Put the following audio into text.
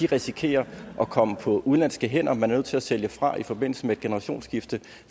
risikerer at komme på udenlandske hænder man er til at sælge fra i forbindelse med et generationsskifte